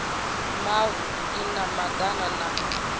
mavu i na madana na